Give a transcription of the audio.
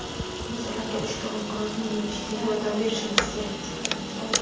Biz ularga ushbu inqirozni yengishga yordam berishimiz kerak.